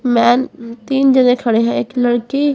man तीन जने खड़े हैं एक लड़की--